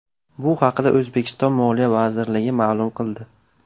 Bu haqda O‘zbekiston Moliya vazirligi ma’lum qildi .